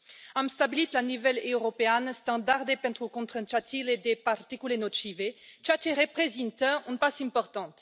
Am stabilit la nivel european standarde pentru concentrațiile de particule nocive, ceea ce reprezintă un pas important.